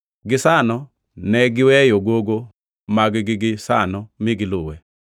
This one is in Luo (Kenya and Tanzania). Gisano ne giweyo gogo mag-gi gisano mi giluwe.